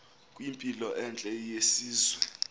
kwimpilo entle yesizwe